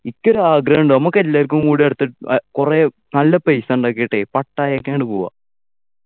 ഇക്കൊരു ആഗ്രഹം ഉണ്ട് നമുക്ക് എല്ലാവർക്കും കൂടി അടുത്ത് ഏർ കുറെ നല്ല പൈസ ഉണ്ടാക്കിയിട്ടെ പട്ടായക്ക് അങ്ങട് പോകാ